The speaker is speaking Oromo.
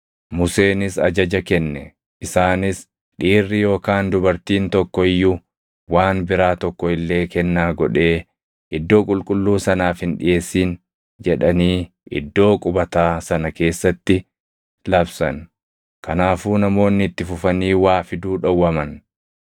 Museenis ajaja kenne; isaanis, “Dhiirri yookaan dubartiin tokko iyyuu waan biraa tokko illee kennaa godhee iddoo qulqulluu sanaaf hin dhiʼeessin” jedhanii iddoo qubataa sana keessatti labsan. Kanaafuu namoonni itti fufanii waa fiduu dhowwaman.